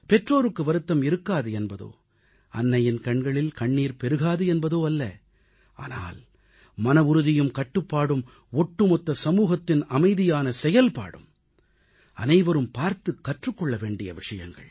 பெற்றோருக்கு வருத்தம் இருக்காது என்பதோ அன்னையின் கண்களில் கண்ணீர் பெருகாது என்பதோ அல்ல ஆனால் மனவுறுதியும் கட்டுப்பாடும் ஒட்டுமொத்த சமூகத்தின் அமைதியான செயல்பாடும் அனைவரும் பார்த்துக் கற்றுக் கொள்ள வேண்டிய விஷயங்கள்